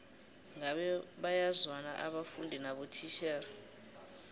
ngabe bayazwana abafundi nabotitjhere